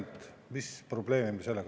Nüüd palun siia Riigikogu kõnetooli Arvo Alleri.